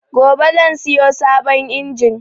Gobe zan siyo sabon injin